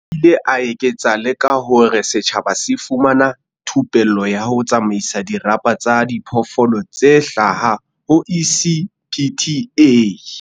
O ile a eketsa le ka hore setjhaba se fumana thupello ya ho tsamaisa dirapa tsa diphoofolo tse hlaha ho ECPTA.